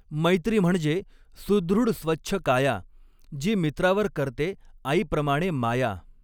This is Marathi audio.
मैत्री म्हणजे सुदृढ स्वच्छ काया, जि मित्रावर करते आईप्रमाणे माया